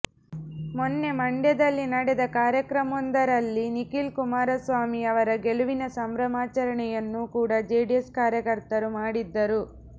ಮೌನ್ನೆ ಮಂಡ್ಯದಲ್ಲಿ ನಡೆದ ಕಾರ್ಯಕ್ರಮವೊಂದರಲ್ಲಿ ನಿಖಿಲ್ ಕುಮಾರಸ್ವಾಮಿ ಅವರ ಗೆಲುವಿನ ಸಂಭ್ರಮಾಚರಣೆಯನ್ನೂ ಕೂಡ ಜೆಡಿಎಸ್ ಕಾರ್ಯಕರ್ತರು ಮಾಡಿದ್ದರು